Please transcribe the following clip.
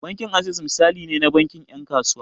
Bankin Access misali ne na bankin 'yan kasuwa.